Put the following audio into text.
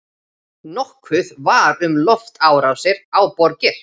Nokkuð var um loftárásir á borgir.